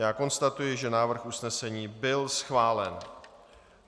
Já konstatuji, že návrh usnesení byl schválen.